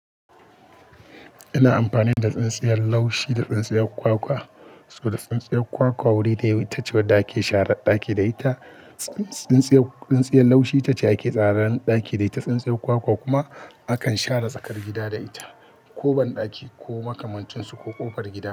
Ina amfani da tsintsiyar laushi da tsintsiyar kwakwa, saboda tsintsiyar kwakwa wuri da ta cewa da ake share ɗaki da ita. Tsintsiyar laushi ita ce ake tsara ɗaki da ita, tsintsiyar kwakwa kuma akan share tsakar gida da ita, ko banɗaki ko makamantunsu ko ƙofar gida.